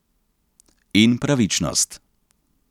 In pravičnost.